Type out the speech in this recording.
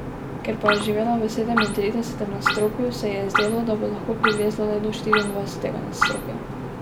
Ker pa je živela v sedemintridesetem nadstropju, se ji je zdelo, da bo lahko prilezla le do štiriindvajsetega nadstropja.